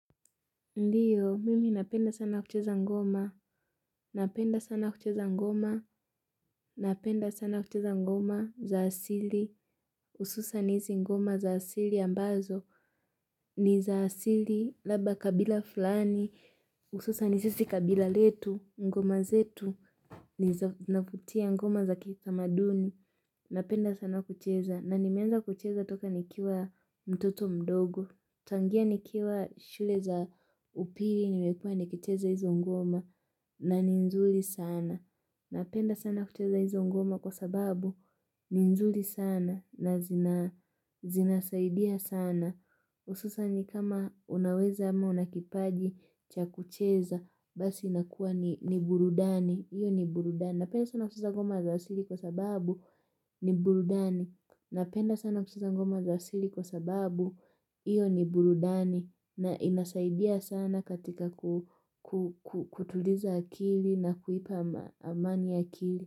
Ndiyo, mimi napenda sana kucheza ngoma, napenda sana kucheza ngoma, napenda sana kucheza ngoma za asili, ususa nisi ngoma za asili ambazo, ni za asili, laba kabila fulani, hususa nisi kabila letu, ngoma zetu, nifutia ngoma za kitamaduni, napenda sana kucheza, na nimeanza kucheza toka nikiwa mtoto mdogo. Tangia nikiwa shule za upili nimekua ni kicheza hizo ngoma na ni nzuri sana. Napenda sana kucheza hizo ngoma kwa sababu ni nzuri sana na zina zina saidia sana. Hususa ni kama unaweza ama unakipaji cha kucheza basi inakuwa ni burudani. Iyo ni burudani. Napenda sana hususa ngoma za asili kwa sababu ni burudani. Napenda sana kuskiza ngoma za asili kwa sababu iyo ni burudani na inasaidia sana katika kutuliza akili na kuipa amani akili.